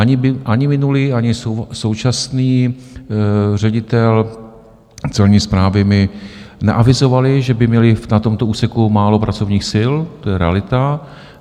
Ani minulý, ani současný ředitel Celní správy mi neavizovali, že by měli na tomto úseku málo pracovních sil, to je realita.